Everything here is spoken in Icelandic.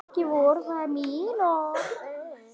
Ekki voru það mín orð!